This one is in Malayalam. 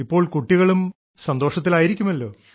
ഇപ്പോൾ കുട്ടികളും സന്തോഷത്തിലായിരിക്കുമല്ലോ